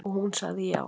Og hún sagði já.